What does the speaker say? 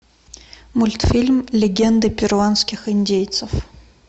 мультфильм легенды перуанских индейцев